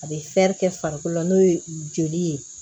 A bɛ kɛ farikolo la n'o ye joli ye